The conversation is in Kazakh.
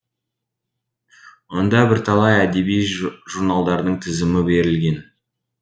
онда бірталай әдеби журналдардың тізімі берілген